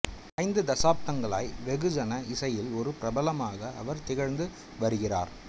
ஐந்து தசாப்தங்களாய் வெகுஜன இசையில் ஒரு பிரபலமாக அவர் திகழ்ந்து வருகிறார்